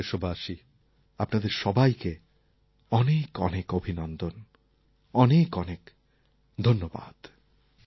আমার প্রিয় দেশবাসী আপনাদের সবাইকে অনেক অনেক অভিনন্দন অনেক অনেক ধন্যবাদ